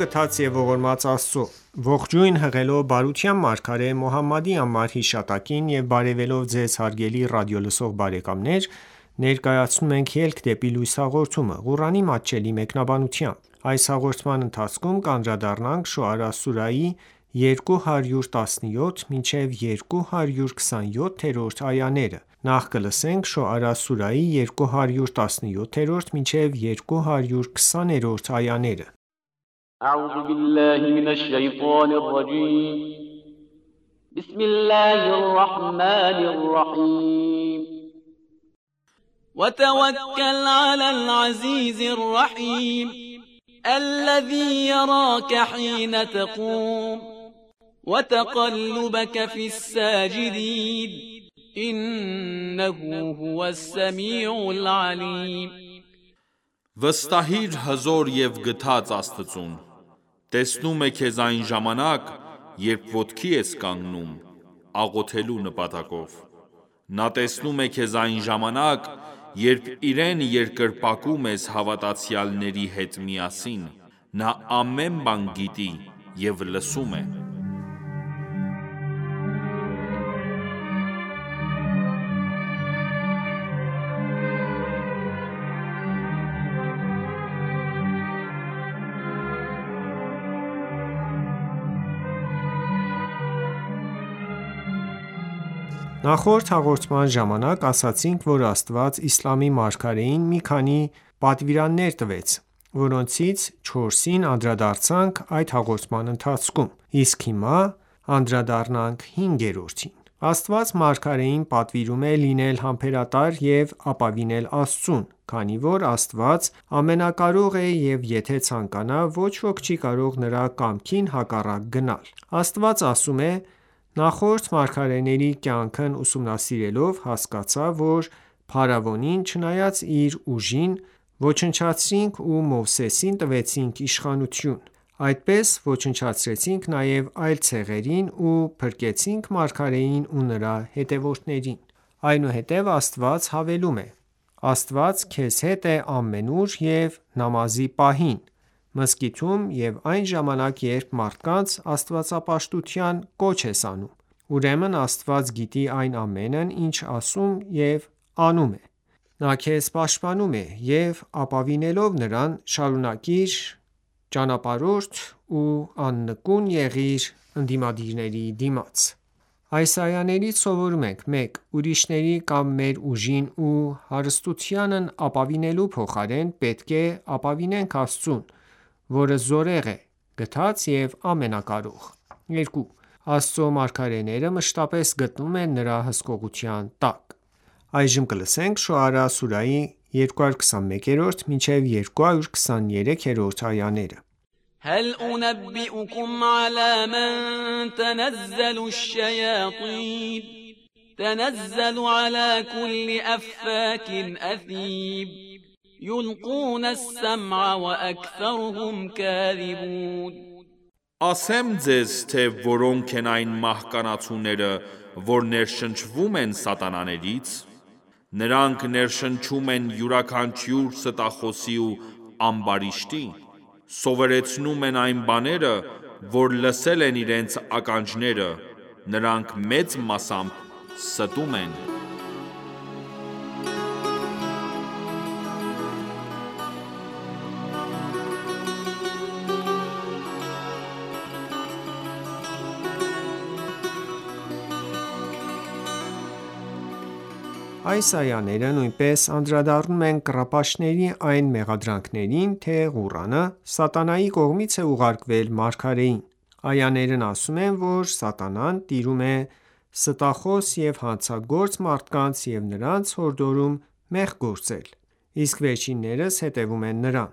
գթած և ողորմած Աստծո:Ողջույն հղելով բարության մարգարե Մոհամմադի անմար հիշատակին եւ բարեւելով Ձեզ հարգելի ռադիոլսող բարեկամներ ներկայացնում ենք «Ելք դեպի լույս» հաղորդումը, Ղուրանի մատչելի մեկնաբանությամբ: Շոարա սուրահի 217-220-րդ այաներ وَتَوَکَّلْ عَلَى الْعَزِیزِ الرَّحِیمِ وَتَقَلُّبَکَ فِی السَّاجِدِینَ إِنَّهُ هُوَ السَّمِیعُ الْعَلِیمُ Վստահիր հզոր և գթած Աստծուն: Տեսնում է քեզ այն ժամանակ, երբ ոտքի ես կանգնում(աղոթելու նպատակով): ( Նա տեսնում է քեզ այն ժամանակ), երբ իրեն երկրպագում ես հավատացյալների հետ միասին: Նա ամեն բան գիտի և լսում է: Նախորդ հաղորդման ժամանակ ասացինք, որ Աստված իսլամի մարգարեին մի քանի պատվիրաններ տվեց, որոնցից չորսին անդրադարձանք այդ հաղորդան ընթացքում: Իսկ հիմա անդրադառնանք հինգերորդին: Աստված մարգարեին պատվիրում է լինել համբերատար և ապավինել Աստծուն, քանի որ Աստված ամենակարող է և եթե ցանկանա, ոչ ոք չի կարող նրա կամքին հակառակ գնալ: Աստված ասում է. «Նախորդ մարգարեների կյանքն ուսումնասիրելով, հասկացա, որ փարավոնին, չնայած իր ուժին, ոչնչացրինք ու Մովսեսին տվեցինք իշխանութուն: Այդպես ոչնչացրեցինք նաև այլ ցեղերին ու փրկեցինք մարգարեին ու նրա հետևորդներին»: Այնուհետև Աստված հավելում է. «Աստված քեզ հետ է ամենուր և նամազի պահին, մզկիթում, և այն ժամանակ երբ մարդկանց աստվածապաշտության կոչ ես անում: Ուրեմն Աստված գիտի այն ամենն ինչ ասում և անում ես: Նա քեզ պաշտպանում է, և ապավինելով Նրան, շարունակիր ճանապարհդ ու աննկուն եղիր ընդդիմադիրների դիմաց»: Այս այաներից սովորում ենք. 1. Ուրիշների կամ մեր ուժին ու հարստությանն ապավինելու փոխարեն, պետք է ապավինենք Աստծուն, որը զորեղ է, գթած և ամենակարող: 2. Աստծու մարգարեները մշտապես գտնվում են նրա հսկողության տակ: Շոարա սուրահի 221-223-րդ այաներ هَلْ أُنَبِّئُکُمْ عَلَىٰ مَنْ تَنَزَّلُ الشَّیَاطِینُ تَنَزَّلُ عَلَىٰ کُلِّ أَفَّاکٍ أَثِیمٍ یُلْقُونَ السَّمْعَ وَأَکْثَرُهُمْ کَاذِبُونَ Ասե՞մ ձեզ թե որոնք են այն մահկանացուները, որ ներշնչվում են սատանաներից: Նրանք ներշնչում են յուրաքանչյուր ստախոսի ու ամբարիշտի: Սովորեցնում են այն բաները, որ լսել են իրենց ականջները, նրանք մեծ մասամբ ստում են: Այս այաները նույնպես անդրադառնում են կռապաշտների այն մեղադրանքներին, թե Ղուրանը սատանայի կողմից է ուղարկվել մարգարեին: Այաներն ասում են, որ սատանան տիրում է ստախոս և հանցագործ մարդկանց և նրանց հորդորում մեղք գործել: Իսկ վերջիններս հետևում են նրան: